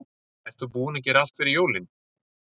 Ert þú búinn að gera allt fyrir jólin?